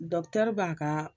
Dɔkutɛri b'a ka